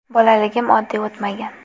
Bolaligim oddiy o‘tmagan.